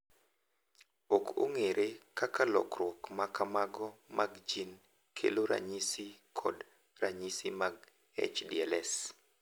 Ok ong’ere kaka lokruok ma kamago mag gene kelo ranyisi kod ranyisi mag HDLS.